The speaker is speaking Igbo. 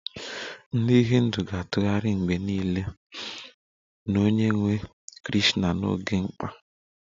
Ndị Hindu ga-atụgharị mgbe niile n'onyenwe Krishna n'oge mkpa